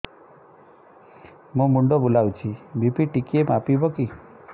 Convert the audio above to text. ମୋ ମୁଣ୍ଡ ବୁଲାଉଛି ବି.ପି ଟିକିଏ ମାପିବ କି